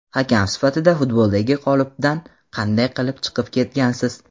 Hakam sifatida futboldagi qolipdan qanday qilib chiqib ketgansiz?